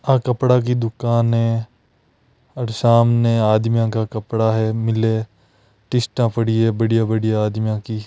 आ कपड़ा की दुकान है और सामने आदमियों का कपड़ा है मिले तीस्ता पड़ी है बढ़िया-बढ़िया आदमियों की।